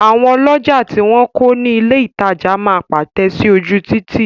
Àwọn ọlọ́jà tí wọn kọ̀ ní ilè ìtajà máa pátẹ̀ sí ojú Títì.